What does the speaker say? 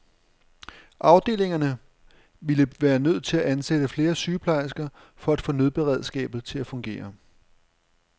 Afdelingerne ville være nødt til at ansætte flere sygeplejersker for at få nødberedskabet til at fungere.